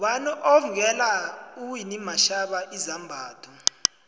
ngubani othvngela uwinnie mandela izambatho